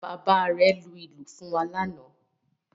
Bàbá rẹ̀ lu ìlù fún wa lánàá